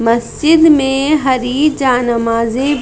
मस्जिद में हरी जा-नमाजी--